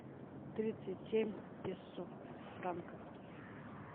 тридцать семь песо в франках